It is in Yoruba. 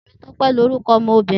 Temitope ni oruko omobirin.